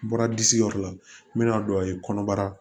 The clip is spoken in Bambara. N bɔra disi yɔrɔ la n bɛna don a ye kɔnɔbara